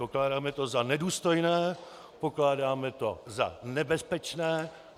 Pokládáme to za nedůstojné, pokládáme to za nebezpečné.